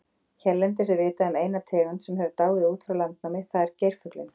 Hérlendis er vitað um eina tegund sem hefur dáið út frá landnámi, það er geirfuglinn.